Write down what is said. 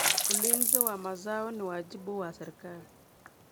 Ulinzi wa mazao ni wajibu wa serikali.